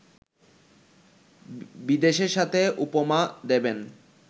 বিদেশের সাথে উপমা দেবেন